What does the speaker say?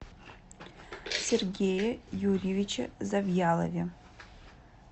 сергее юрьевиче завьялове